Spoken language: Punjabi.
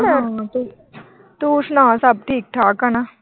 ਤੂੰ ਸੁਣਾ ਸਬ ਠੀਕ ਠਾਕ ਆ ਨਾ।